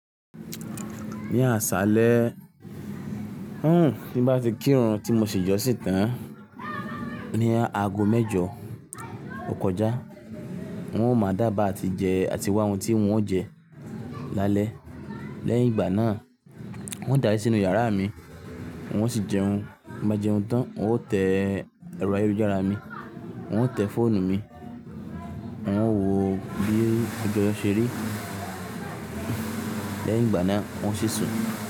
Ní àṣálẹ́, hún tí bá ti kírun tí mo sì jọ́sìn tán ní aago mẹ́jọ ò kọjá, wọn ò mọ dába àti jẹ àti wá ohun tí wọn ó jẹ lálẹ́. Lẹ́yìn ìgbà náà, wọn dárí sínú yàrá mi, wọn sì jẹun. Bá jẹun tán, wọn ó tẹ ẹ̀rọ ayélujára mi, wọn ó tẹ fóònù mi, wọn wò ó bí ọjọ́ ṣe rí. Lẹ́yìn ìgbà náà, wọn sì sùn.